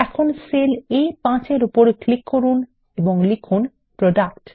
এখন cell A5 এ click করুন এবং লিখুন প্রোডাক্ট